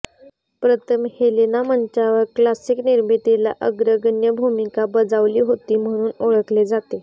प्रथम हेलेना मंचावर क्लासिक निर्मितीला अग्रगण्य भूमिका बजावली होती म्हणून ओळखले जाते